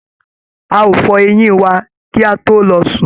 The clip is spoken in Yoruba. A óò fọ eyín wà kí a tó lọ sùn.